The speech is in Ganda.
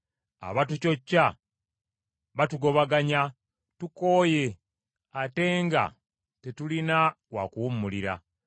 Abatucocca batugobaganya; tukooye ate nga tetulina wa kuwummulira.